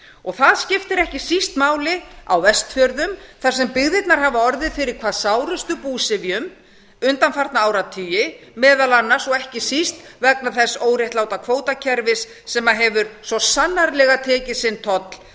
og það skiptir ekki síst máli á vestfjörðum þar sem byggðirnar hafa orðið fyrir hvað sárustum búsifjum undanfarna áratugi meðal annars og ekki síst vegna þess óréttláta kvótakerfis sem hefur svo sannarlega tekið sinn toll